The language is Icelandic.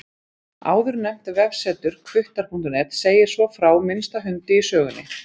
Áðurnefnt vefsetur, hvuttar.net, segir svo frá minnsta hundi í sögunni.